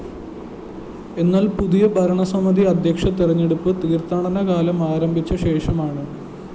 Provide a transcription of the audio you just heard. എന്നാല്‍ പുതിയ ഭരണസമിതി അദ്ധ്യക്ഷ തെരഞ്ഞെടുപ്പ് തീര്‍ത്ഥാടനകാലം ആരംഭിച്ച ശേഷമാണ്